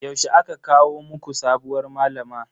Yaushe aka kawo muku sabuwar malama?